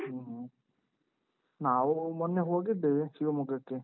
ಹ್ಮ ಹ್ಮ. ನಾವು ಮೊನ್ನೆ ಹೋಗಿದ್ದೇವ್ ಶಿವಮೊಗ್ಗಕ್ಕೆ.